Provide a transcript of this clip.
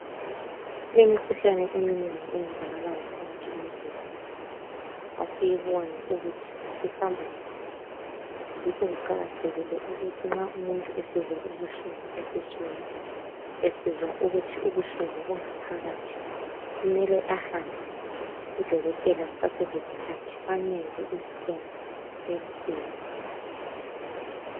Imikhuhlane eminengi eyenzakalayo phakathi kwemizimba asiyiboni ukuthi ihamba njani yikho kuqakathekile ukuthi nxa umuntu esizwa ubuhlungu esiswini esizwa ukuthi ubuhlungu bunga phakathi kumele ahambe kudokotela kuseselesikhathi bamenze iscan bamsize